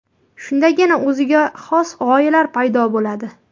Shundagina o‘ziga xos g‘oyalar paydo bo‘ladi.